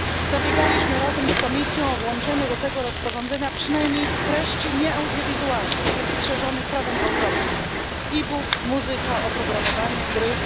Zabiegaliśmy razem z Komisją o włączenie do tego rozporządzenia przynajmniej treści nieaudiowizualnych, tych strzeżonych prawem autorskim iBooks, muzyka, oprogramowanie, gry.